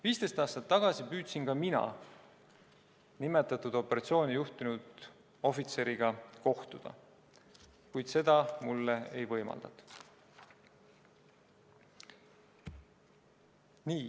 15 aastat tagasi püüdsin ka mina nimetatud operatsiooni juhtinud ohvitseriga kohtuda, kuid seda mulle ei võimaldatud.